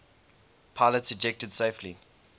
pilots ejected safely